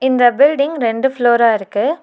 இந்த பில்டிங் ரெண்டு ஃப்ளோரா இருக்கு.